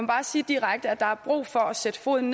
bare sige direkte at der er brug for at sætte foden